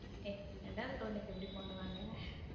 ஏய் ரெண்டாவது குழந்தைக்கி எப்பிடி போடுவாங்க.